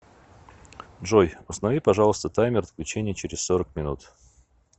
джой установи пожалуйста таймер отключения через сорок минут